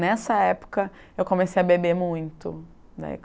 Nessa época, eu comecei a beber muito. Daí